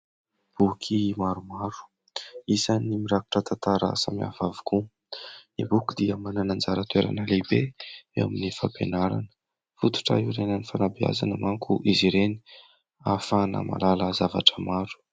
Boky maromaro isany mirakitra tantara samy hafa avokoa, ny boky dia manana anjara toerana lehibe eo amin'ny fampianarana, fototra hiorenan'ny fanabeazana manko izy ireny ahafahana mahalala zavatra maro.